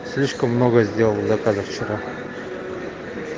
слишком много сделал заказов вчера